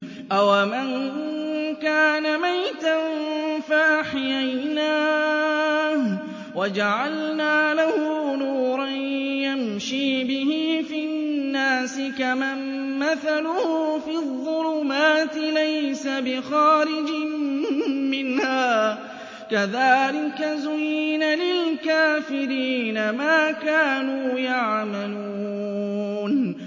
أَوَمَن كَانَ مَيْتًا فَأَحْيَيْنَاهُ وَجَعَلْنَا لَهُ نُورًا يَمْشِي بِهِ فِي النَّاسِ كَمَن مَّثَلُهُ فِي الظُّلُمَاتِ لَيْسَ بِخَارِجٍ مِّنْهَا ۚ كَذَٰلِكَ زُيِّنَ لِلْكَافِرِينَ مَا كَانُوا يَعْمَلُونَ